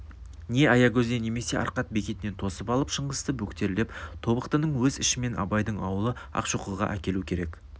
не аягөзден немесе арқат бекетінен тосып алып шыңғысты бөктерлеп тобықтының өз ішімен абайдың аулы ақшоқыға әкелу керек